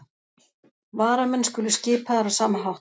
Varamenn skulu skipaðir á sama hátt